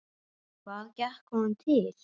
Hvað gekk honum til?